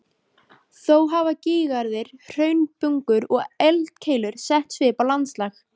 Þó hafa gígaraðir, hraunbungur og eldkeilur sett svip á landslag.